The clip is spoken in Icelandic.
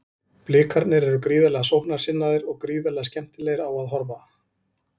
Blikarnir eru gríðarlega sóknarsinnaðir og gríðarlega skemmtilegir á að horfa.